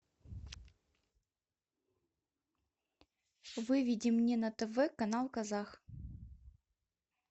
выведи мне на тв канал казах